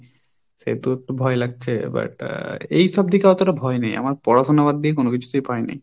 সেহেতু একটু ভয় লাগছে, but এইসব দিকে অতটা ভয় নেই, আমার পড়াশুনা বাদ দিয়ে কোন কিছুতেই ভয় নেই।